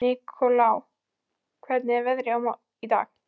Nikolai, hvernig er veðrið í dag?